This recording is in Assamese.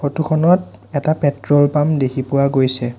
ফটো খনত এটা পেট্ৰল পাম্প দেখি পোৱা গৈছে।